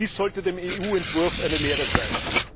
Dies sollte dem EU Entwurf eine Lehre sein.